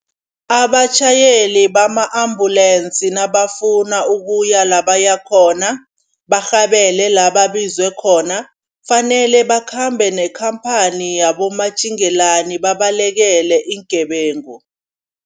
Abatjhayeli bama-ambulance nabafuna ukuya la bayakhona, barhabele la babizwe khona kufanele bakhambe nekhamphani yabomatjingelani babalekele iingebengu.